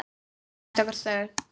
Grænt og þröngt.